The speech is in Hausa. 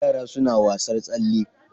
Yaran suna wasar tsalle.